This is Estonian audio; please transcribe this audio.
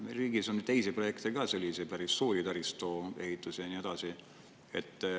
Meie riigis on teisi projekte ka, selliseid päris suuri taristuehitusi ja nii edasi.